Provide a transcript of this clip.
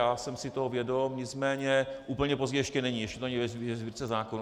Já jsem si toho vědom, nicméně úplně pozdě ještě není, ještě to není ve Sbírce zákonů.